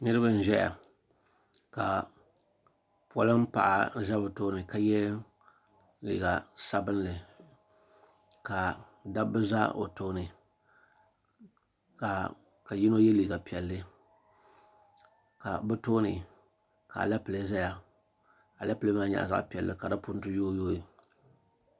Niriba n-ʒɛya ka polin' paɣa za bɛ tooni ka ye liiɡa sabinli ka dabba za o tooni ka yino ye liiɡa piɛlli ka bɛ tooni ka alepile zaya alepile maa nyɛla zaɣ' piɛlli ka di punti yooiyooi